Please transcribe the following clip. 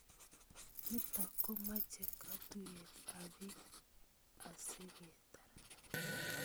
Nitok komache katuyet ap piik asigetar